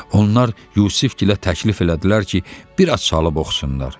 Onlar Yusifgilə təklif elədilər ki, bir az çalıb oxusunlar.